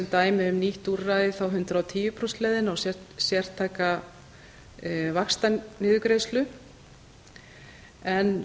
dæmi um nýtt úrræði þá hundrað og tíu prósenta leiðina og sértæka vaxtaniðurgreiðslu en